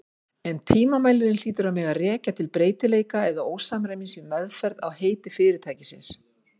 En tilmælin hlýtur að mega rekja til breytileika eða ósamræmis í meðferð á heiti fyrirtækisins.